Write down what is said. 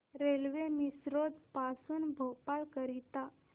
railway Misrod पासून भोपाळ करीता